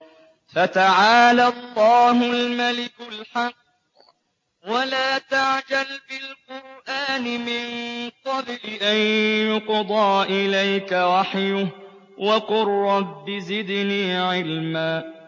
فَتَعَالَى اللَّهُ الْمَلِكُ الْحَقُّ ۗ وَلَا تَعْجَلْ بِالْقُرْآنِ مِن قَبْلِ أَن يُقْضَىٰ إِلَيْكَ وَحْيُهُ ۖ وَقُل رَّبِّ زِدْنِي عِلْمًا